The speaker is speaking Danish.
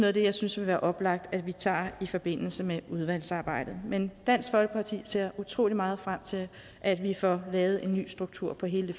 af det jeg synes vil være oplagt at vi tager i forbindelse med udvalgsarbejdet men dansk folkeparti ser utrolig meget frem til at vi får lavet en ny struktur på hele